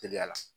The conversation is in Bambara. Teliya la